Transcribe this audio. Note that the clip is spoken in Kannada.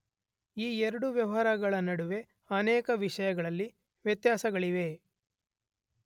ಈ ಎರಡೂ ವ್ಯವಹಾರಗಳ ನಡುವೆ ಅನೇಕ ವಿಷಯಗಳಲ್ಲಿ ವ್ಯತ್ಯಾಸಗಳಿವೆ.